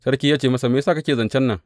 Sarki ya ce masa, Me ya sa kake zancen nan?